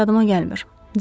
Nəsə yadıma gəlmir.